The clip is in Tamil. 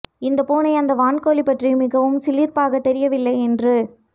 இந்த பூனை அதன் வான்கோழி பற்றி மிகவும் சிலிர்ப்பாக தெரியவில்லை என்று